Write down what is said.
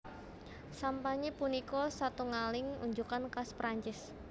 Sampanye punika satungaling unjukan khas Prancis